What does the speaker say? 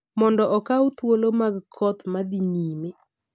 mondo okaw thuolo mag koth ma dhi nyime.